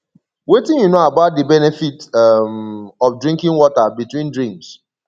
wetin you know about di benefits um of drinking water between drinks